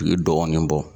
U ye dɔgɔnin bɔ